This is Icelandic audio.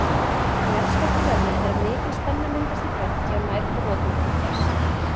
Jarðskjálfti verður þegar mikil spenna myndast í bergi og nær brotmörkum þess.